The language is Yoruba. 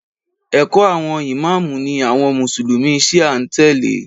ẹkọ awọn İmam ni àwọn mùsùlùmí shia n tele